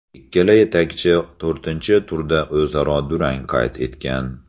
Ikkala yetakchi to‘rtinchi turda o‘zaro durang qayd etgan.